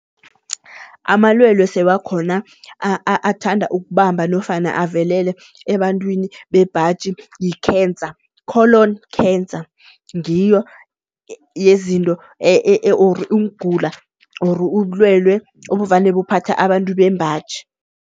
Amalwelwe sewakhona athanda ukubamba nofana avelele ebantwini bebhaji yi-cancer. Colon cancer, ngiyo yezinto or ukugula or ubulwelwe obuvane buphathe abantu bembaji.